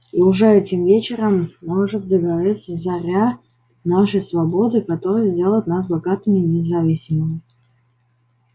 и уже этим вечером может загореться заря нашей свободы которая сделает нас богатыми и независимыми